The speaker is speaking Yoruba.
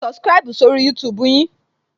Mo ti subscribu sórí YouTube yin